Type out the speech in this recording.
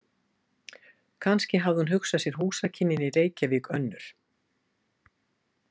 Kannski hafði hún hugsað sér húsakynnin í Reykjavík önnur.